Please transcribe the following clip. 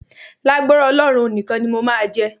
Lágbára Ọlọ́run, òun nìkan ni mo máa jẹ.